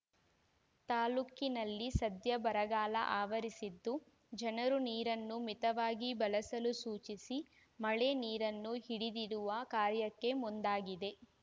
ತಾಲ್ಲೂಕಿನಲ್ಲಿ ಸದ್ಯ ಬರಗಾಲ ಆವರಿಸಿದ್ದು ಜನರು ನೀರನ್ನು ಮಿತವಾಗಿ ಬಳಸಲು ಸೂಚಿಸಿ ಮಳೆ ನೀರನ್ನು ಹಿಡಿದಿಡುವ ಕಾರ್ಯಕ್ಕೆ ಮುಂದಾಗಿದೆ